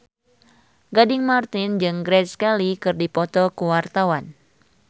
Gading Marten jeung Grace Kelly keur dipoto ku wartawan